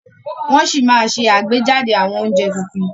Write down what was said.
Wọn sì máa ṣe àgbéjáde àwọn oúnjẹ tuntun